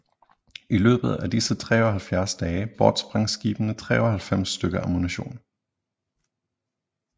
I løbet af disse 73 dage bortsprang skibene 93 stykker ammunition